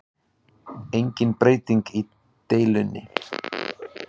Engin breyting í deilunni